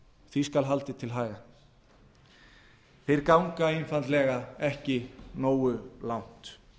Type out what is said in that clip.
því skal haldið til haga þeir ganga einfaldlega ekki nógu langt